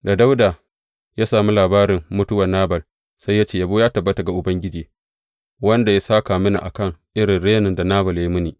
Da Dawuda ya sami labarin mutuwar Nabal, sai ya ce, Yabo ya tabbata ga Ubangiji, wanda ya sāka mini a kan irin renin da Nabal ya yi mini.